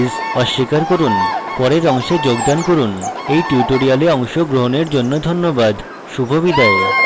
পরের অংশে যোগাযোগ করুন এই tutorial অংশগ্রহনের জন্য ধন্যবাদ শুভবিদায়